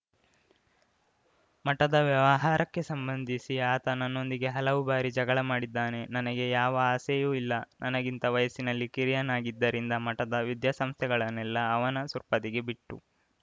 ಮಠದ ವ್ಯವಹಾರಕ್ಕೆ ಸಂಬಂಧಿಸಿ ಆತ ನನ್ನೊಂದಿಗೆ ಹಲವು ಬಾರಿ ಜಗಳ ಮಾಡಿದ್ದಾನೆ ನನಗೆ ಯಾವ ಆಸೆಯೂ ಇಲ್ಲ ನನಗಿಂತ ವಯಸ್ಸಿನಲ್ಲಿ ಕಿರಿಯನಾಗಿದ್ದರಿಂದ ಮಠದ ವಿದ್ಯಾಸ್ಥಂಸ್ಥೆಗಳನ್ನೆಲ್ಲಾ ಅವನ ಸುಪರ್ದಿಗೆ ಬಿಟ್ಟು